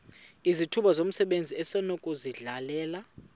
izithuba zomsebenzi esinokuzidalela